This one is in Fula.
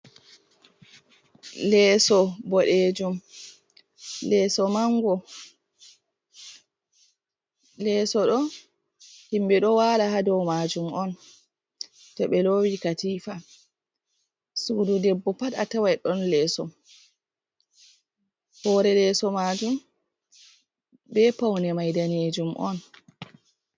Leeso bodejum, leeso mango, leeso do himɓe ɗo wala ha dau majum on to ɓe lowi katifa. Sudu debbo pat a tawai don leeso, hore leeso majum be paune mai danejum on.